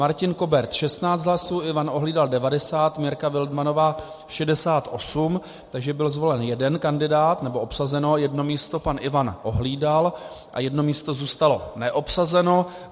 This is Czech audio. Martin Kobert 16 hlasů, Ivan Ohlídal 90, Mirka Wildmannová 68, takže byl zvolen jeden kandidát, nebo obsazeno jedno místo, pan Ivan Ohlídal, a jedno místo zůstalo neobsazeno.